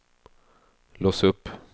lås upp